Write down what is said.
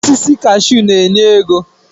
Osisi kashuu na-enye ego.